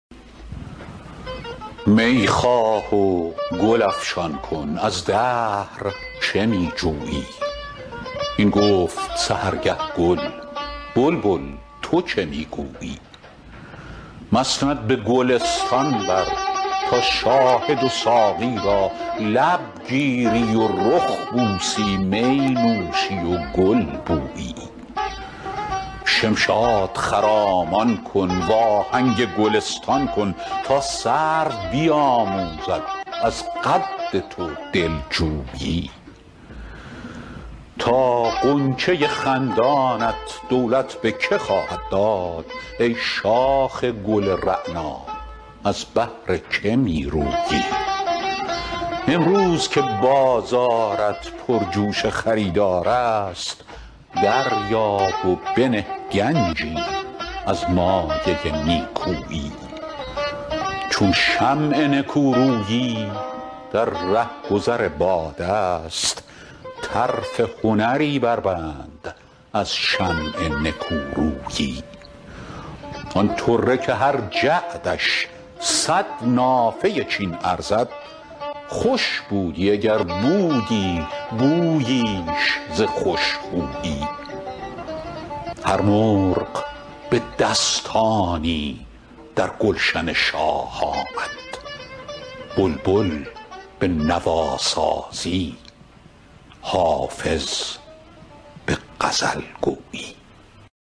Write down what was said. می خواه و گل افشان کن از دهر چه می جویی این گفت سحرگه گل بلبل تو چه می گویی مسند به گلستان بر تا شاهد و ساقی را لب گیری و رخ بوسی می نوشی و گل بویی شمشاد خرامان کن وآهنگ گلستان کن تا سرو بیآموزد از قد تو دل جویی تا غنچه خندانت دولت به که خواهد داد ای شاخ گل رعنا از بهر که می رویی امروز که بازارت پرجوش خریدار است دریاب و بنه گنجی از مایه نیکویی چون شمع نکورویی در رهگذر باد است طرف هنری بربند از شمع نکورویی آن طره که هر جعدش صد نافه چین ارزد خوش بودی اگر بودی بوییش ز خوش خویی هر مرغ به دستانی در گلشن شاه آمد بلبل به نواسازی حافظ به غزل گویی